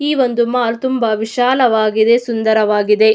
ಈ ಒಂದು ಮಾಲ್ ತುಂಬಾ ವಿಶಾಲವಾಗಿದೆ ಸುಂದರವಾಗಿದ್.